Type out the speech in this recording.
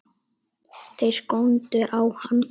Þeir góndu á hann.